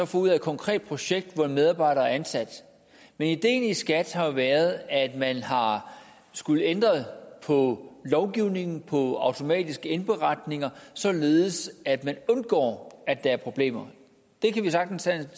får ud af et konkret projekt hvor en medarbejder er ansat men ideen i skat har jo været at man har skullet ændre på lovgivningen på automatiske indberetninger således at man undgår at der er problemer vi kan sagtens have